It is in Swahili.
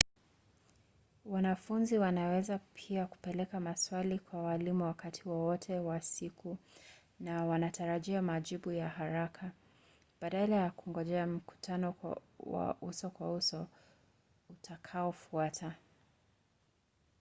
wanafunzi wanaweza pia kupeleka maswali kwa waalimu wakati wowote wa siku na wanatarajia majibu ya haraka badala ya kungojea mkutano wa uso-kwa-uso utakaofuata